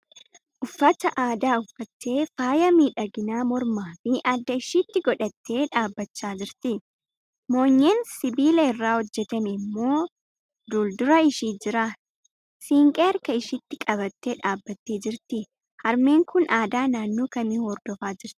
Uffata aadaa uffattee, faaya miidhaginaa mormaa fi adda ishiitti godhattee dhaabbachaa jirti. Moonyeen sibiila irraa hojjetame immoo duuldura ishii jira. Siinqee harka ishiitti qabattee dhaabattee jirti. Harmeen kun aadaa naannoo kamii hordofaa jirti?